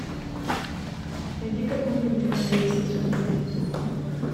найди какую нибудь комедию посмотреть